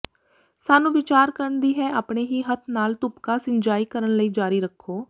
ਸਾਨੂੰ ਵਿਚਾਰ ਕਰਨ ਦੀ ਹੈ ਆਪਣੇ ਹੀ ਹੱਥ ਨਾਲ ਤੁਪਕਾ ਸਿੰਜਾਈ ਕਰਨ ਲਈ ਜਾਰੀ ਰੱਖੋ